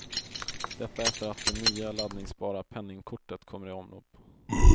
Detta efter att det nya laddningsbara penningkortet kommer i omlopp.